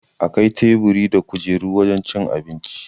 Akwai teburi da kujeru a wajan cin abinci